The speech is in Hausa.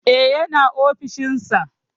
E, yana ofishin sa.